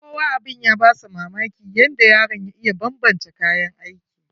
Kowa abun ya ba shi mamaki yadda yaron ya iya banbance kayan aikin.